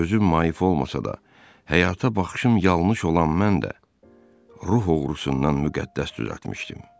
Gözüm mayıf olmasa da, həyata baxışım yanlış olan mən də ruh oğrusundan müqəddəs düzəltmişdim.